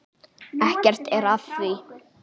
Ekkert er að því.